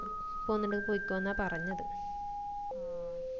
പൊന്നിണ്ടെങ്കിൽ പോയിക്കൊന്നാ പറഞ്ഞത്